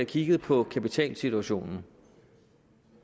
kigget på kapitalsituationen